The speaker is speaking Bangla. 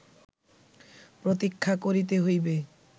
প্রতীক্ষা করিতে হইবে